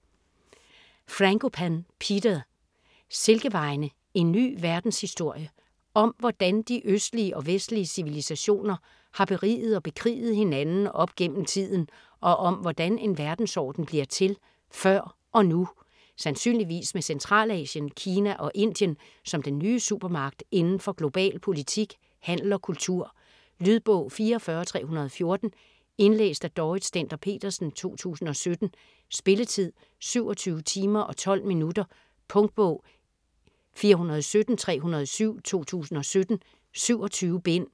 Frankopan, Peter: Silkevejene: en ny verdenshistorie Om hvordan de østlige og vestlige civilisationer har beriget og bekriget hinanden op gennem tiden, og om hvordan en verdensorden bliver til - før og nu. Sandsynligvis med Centralasien, Kina og Indien som den nye supermagt inden for global politik, handel og kultur. Lydbog 44314 Indlæst af Dorrit Stender-Petersen, 2017. Spilletid: 27 timer, 12 minutter. Punktbog 417307 2017. 27 bind.